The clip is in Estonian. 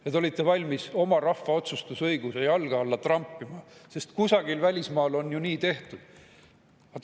Te olite valmis oma rahva otsustusõiguse jalge alla trampima, sest kusagil välismaal on ju nii tehtud.